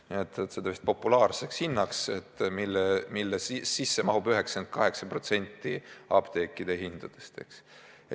Nad nimetavad seda populaarseks hinnaks, mille alla mahub 98% apteekide hindadest.